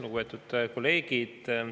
Lugupeetud kolleegid!